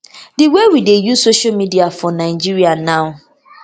di way we dey use social media for nigeria now